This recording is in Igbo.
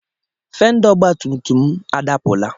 Fendá ọgbatùmtùm m adapụla.